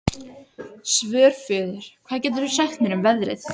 Svörfuður, hvað geturðu sagt mér um veðrið?